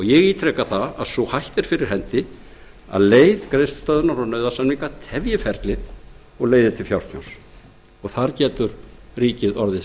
ég ítreka að sú hætta er fyrir hendi að leið greiðslustöðvunar og nauðasamninga tefji ferlið sem geti leitt til frekara fjártjóns og þar getur ríkið orðið